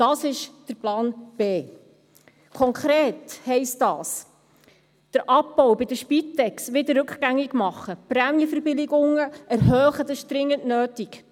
Das ist der Plan B. Konkret heisst dies: Den Abbau bei der Spitex rückgängig machen, Prämienverbilligungen erhöhen – das ist dringend nötig.